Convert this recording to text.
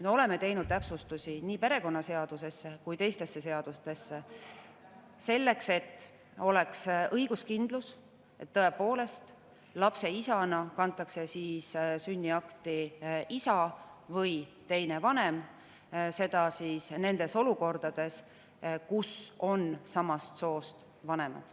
Me oleme teinud täpsustusi nii perekonnaseaduses kui ka teistes seadustes, selleks et oleks õiguskindlus, et lapse isana kantakse sünniakti isa või teine vanem, seda nendes olukordades, kus on samast soost vanemad.